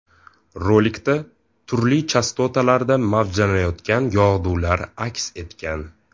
Rolikda turli chastotalarda mavjlanayotgan yog‘dular aks etgan.